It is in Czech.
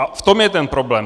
A v tom je ten problém.